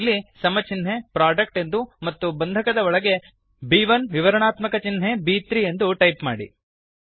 ಇಲ್ಲಿ ಸಮ ಚಿನ್ಹೆ ಪ್ರೊಡಕ್ಟ್ ಎಂದೂ ಮತ್ತು ಬಂಧಕದ ಒಳಗೆ ಬ್1 ವಿವರಾಣಾತ್ಮಕ ಚಿನ್ಹೆ ಬ್3 ಎಂದು ಟೈಪ್ ಮಾಡಿ